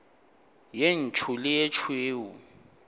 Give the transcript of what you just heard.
ye ntsho le ye tšhweu